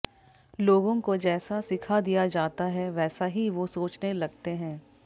लोगों को जैसा सिखा दिया जाता है वैसा ही वो सोचने लगते हैं